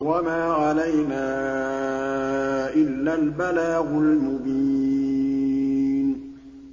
وَمَا عَلَيْنَا إِلَّا الْبَلَاغُ الْمُبِينُ